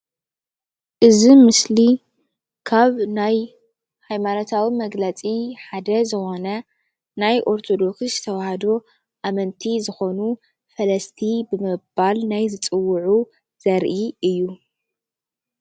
እዚ ምስሊ ካብ ናይ ሃይማኖታዊ መግለፂ ሓደ ዝኮነ ናይ ኦርቶዶክስ ተዋህዶ ኣመንቲ ዝኮኑ ፈለስቲ ብምባል ናይ ዝፅውዑ ዘርኢ እዩ፡፡